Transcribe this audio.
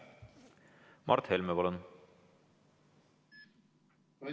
Mart Helme, palun!